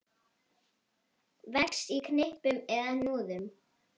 Vex í knippum eða hnúðum.